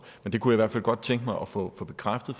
jeg kunne i hvert fald godt tænke mig at få få bekræftet